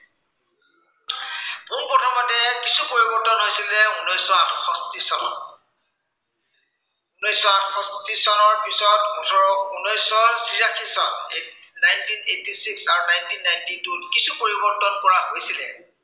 কিছু পৰিৱৰ্তন হৈছিলে উনৈচ শ আঠষষ্ঠি চনত উনৈচ শ আঠষষ্ঠি চনৰ পিছত ওঠৰ, উনৈচ শ ছিয়াশী চন nineteen eighty six বা nineteen ninty two ত কিছু পৰিৱৰ্তন কৰা হৈছিলে